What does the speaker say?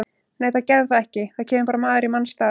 Nei það gerði það ekki, það kemur bara maður í manns stað.